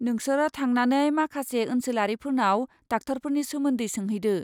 नोंसोरो थांनानै माखासे ओनसोलारिफोरनाव डाक्टारफोरनि सोमोन्दै सोंहैदो।